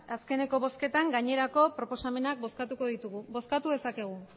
azkeneko bozketan gainerako proposamenak bozkatuko ditugu bozkatu dezakegu